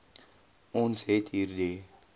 ons het hierdie